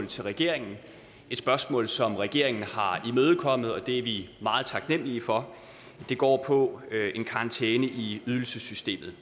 til regeringen et spørgsmål som regeringen har imødekommet og det er vi meget taknemmelige for det går på en karantæne i ydelsessystemet